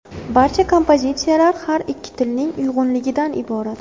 Barcha kompozitsiyalar har ikki tilning uyg‘unligidan iborat.